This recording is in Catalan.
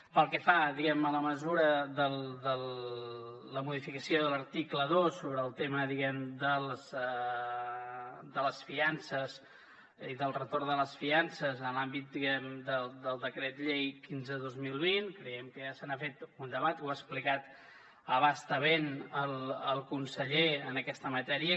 pel que fa diguem ne a la mesura la modificació de l’article dos sobre el tema de les fiances i del retorn de les fiances en l’àmbit del decret llei quinze dos mil vint creiem que ja se n’ha fet un debat ho ha explicat a bastament el conseller en aquesta matèria